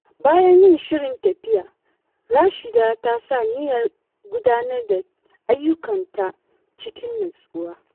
Bayan yin shirin tafiya, Rashida ta sa niyyar gudanar da ayyukanta cikin nutsuwa.